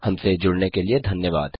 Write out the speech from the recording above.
हमसे जुड़ने के लिए धन्यवाद